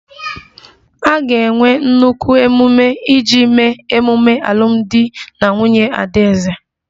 A ga-enwe nnukwu ememe iji mee ememe alụmdi na nwunye adaeze